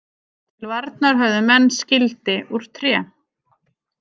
Til varnar höfðu menn skildi úr tré.